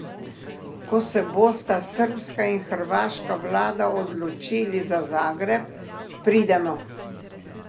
Ko se bosta srbska in hrvaška vlada odločili za Zagreb, pridemo.